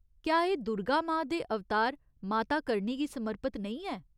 क्या एह् दुर्गा मां दे अवतार माता करणी गी समर्पत नेईं ऐ ?